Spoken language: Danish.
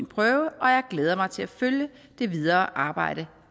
prøve og jeg glæder mig til at følge det videre arbejde